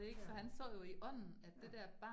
Ja. Ja